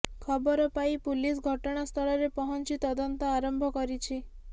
ଖବର ପାଇି ପୁଲିସ ଘଟଣାସ୍ଥଳରେ ପହଞ୍ଚିି ତଦନ୍ତ ଆରମ୍ଭ କରିଛି